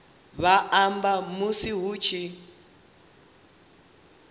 vha amba musi hu tshi